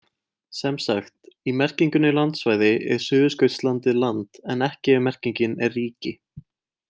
Sem sagt, í merkingunni landsvæði er Suðurskautslandið land en ekki ef merkingin er ríki.